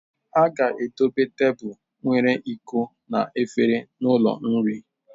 A ga-edobe tebụl nwere iko na efere n'ụlọ nri.